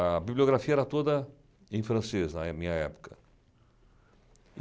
A bibliografia era toda em francês na minha época